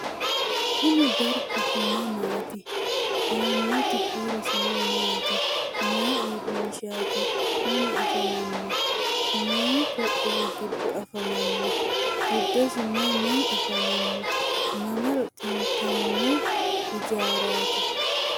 kuni dargu mamaati? aanoti horosino maati? mayi urrinshati? mama afammanno? mayi qoqqowi giddo affamanno? giddosi mayi mayi afamanno? mamaro xintamino ijaraati?